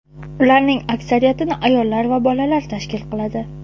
Ularning aksariyatini ayollar va bolalar tashkil qiladi.